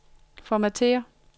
formatér